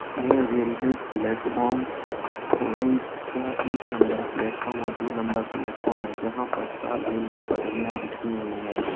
यह railway platform Orai का एक नंबर प्लेटफार्म और दो नंबर प्लेटफार्म है जहा पर चार रेल कि पटरिया बिछी हुई है।